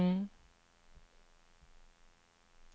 Attityden till djungeln bland surinameserna är dubbel.